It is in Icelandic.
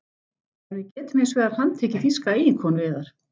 En við getum hins vegar handtekið þýska eiginkonu yðar.